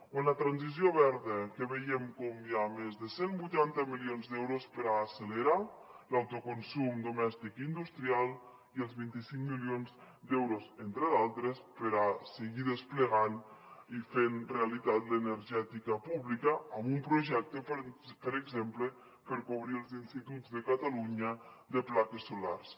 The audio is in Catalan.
o la transició verda que veiem com hi ha més de cent i vuitanta milions d’euros per a accelerar l’autoconsum domèstic industrial i els vint cinc milions d’euros entre d’altres per a seguir desplegant i fent realitat l’energètica pública amb un projecte per exemple per cobrir els instituts de catalunya de plaques solars